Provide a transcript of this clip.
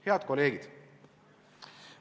Head kolleegid!